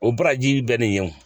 O baraji bɛ nin ye wo